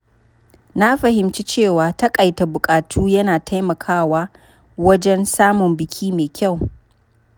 Na fahimci cewa taƙaita buƙatu yana taimakawa wajen samun biki mai kyau.